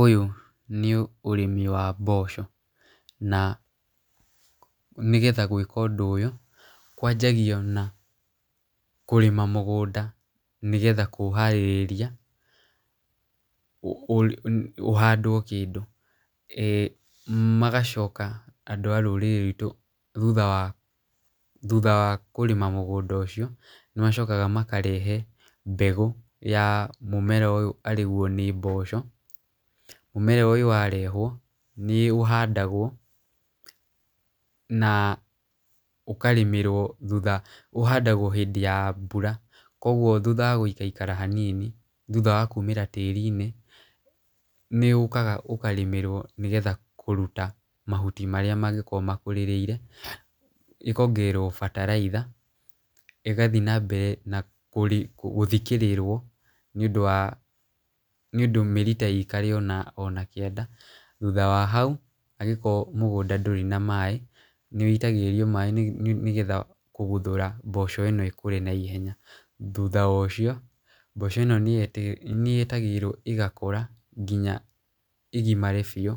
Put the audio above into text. Ũyũ nĩ ũrĩmi wa mboco. Na nĩgetha gwĩka ũndũ ũyũ, kwanjagio na kũrĩma mũgũnda nĩ getha kũũharĩrĩria ũhandwo kĩndũ, magacoka andũ a rũrĩrĩ rwitũ thutha wa kũrĩma mũgũnda ũcio, nĩ macokaga makarehe mbegũ ya mũmera ũyũ arĩguo nĩ mboco. Mũmera ũyũ warehwo nĩ ũhandagwo hĩndĩ ya mbura koguo thutha wa gũikaikara hanini thutha wa kũmĩra tĩrinĩ, nĩ ũkaga ũkarĩmĩrwo nĩgetha kũruta mahuti marĩa mangĩkorwo makũrĩrĩire. ĩkongererwo bataraitha igathie na mbere na gũthikĩrĩrwo nĩ ũndũ mĩrita ĩikare o nakĩanda. Thutha wa hau angĩkorwo mũgũnda ndurĩ na maaĩ nĩ wũitagĩrĩrio maaĩ nĩgetha kũguthũra mboco ĩno ĩkũre na ihenya. Thutha wa ũcio mboco ĩno nĩ yetagĩrĩrwo ĩgakũra nginya ĩgimare biũ